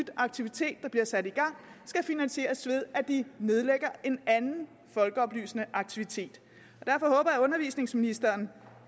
aktivitet der bliver sat i gang skal finansieres ved at de nedlægger en anden folkeoplysende aktivitet derfor håber jeg at undervisningsministeren